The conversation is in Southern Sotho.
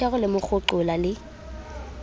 thero le mo kgoqola le